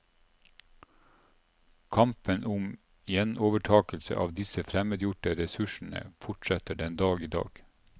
Kampen om gjenovertakelse av disse fremmedgjorte ressursene fortsetter den dag i dag.